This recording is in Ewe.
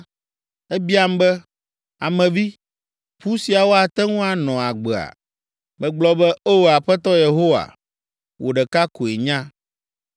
Ebiam be, “Ame vi, ƒu siawo ate ŋu anɔ agbea?” Megblɔ be, “O! Aƒetɔ Yehowa, wò ɖeka koe nya.”